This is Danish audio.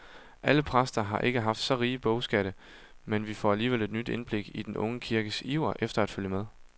Alle præster har ikke haft så rige bogskatte, men vi får alligevel et nyt indblik i den unge kirkes iver efter at følge med.